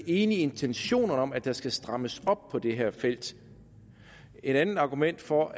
enige i intentionerne om at der skal strammes op på det her felt et andet argument for